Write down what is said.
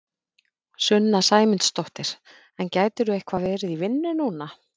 Sunna Sæmundsdóttir: En gætirðu eitthvað verið í vinnu núna?